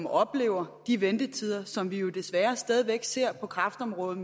at opleve de ventetider som vi jo desværre stadig væk ser på kræftområdet